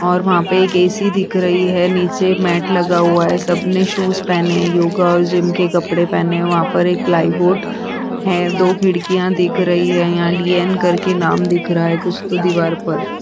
और वहाँ पे एक ऐ सी दिख रही है। नीचे मेट लगा हुआ है। सबने सूज पहने हैं। योगा और जिम के कपड़े पहने हैं। वहाँ पर एक प्लाई बोर्ड है। दो खिड़कियाँ दिख रही हैं। यहाँ दी एंड करके नाम दिख रहा है कुछ तो दीवार पर --